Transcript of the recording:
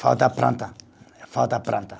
Falta planta, falta planta.